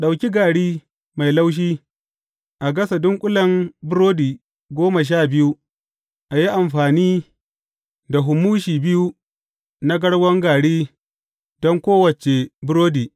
Ɗauki gari mai laushi a gasa dunƙulen burodi goma sha biyu, a yi amfani da humushi biyu na garwan gari don kowace burodi.